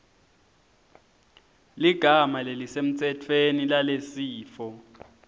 ligama lelisemtsetfweni lalesifo